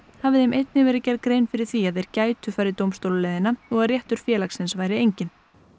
hafi þeim einnig verið gerð grein fyrir því að þeir gætu farið dómstólaleiðina og að réttur félagsins væri enginn